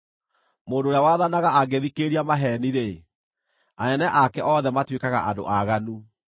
Mũndũ ũrĩa wathanaga angĩthikĩrĩria maheeni-rĩ, anene ake othe matuĩkaga andũ aaganu.